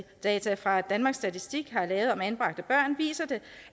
fra danmarks statistik har lavet om anbragte børn viser det